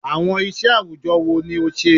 Awọn iṣẹ awujọ wo ni o ṣe?